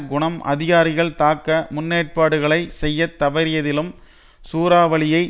குணம் அதிகாரிகள் தக்க முன்னேற்பாடுகளை செய்ய தவறியதிலும் சூறாவளியை